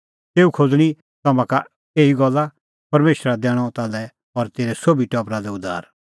तेऊ खोज़णीं तम्हां का एही गल्ला परमेशरा दैणअ ताल्है और तेरै सोभी टबरा लै उद्धार